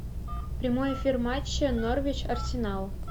прямой эфир матча норвич арсенал